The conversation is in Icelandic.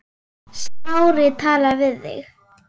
Smári talaði við þig?